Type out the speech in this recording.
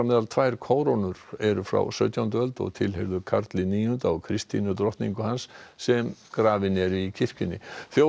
eru frá sautjándu öld og tilheyrðu Karli níunda og Kristínu drottningu hans sem grafin eru í kirkjunni þjófarnir komust undan á